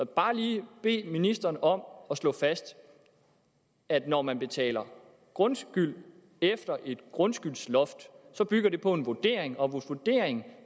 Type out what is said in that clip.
bare lige bede ministeren om at slå fast at når man betaler grundskyld efter et grundskyldsloft bygger det på en vurdering og hvis vurderingen